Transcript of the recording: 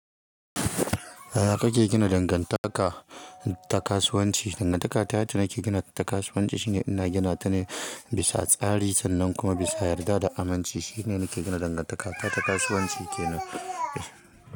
Yana ka ke gina dangantaka ta kasuwanci. Dangantaka ta da nake gina ta kasuwanci shine ina gina ta ne bisa tsari sannan kuma bisa yarda da amince. Shine nake gina dangantaka ta kasuwanci ke nan.